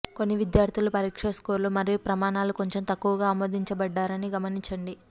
కొన్ని విద్యార్ధులు పరీక్ష స్కోర్లు మరియు ప్రమాణాలు కొంచెం తక్కువగా ఆమోదించబడ్డారని గమనించండి